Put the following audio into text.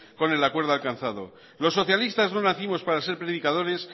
con el acuerdo alcanzado los socialistas no nacimos para ser predicadores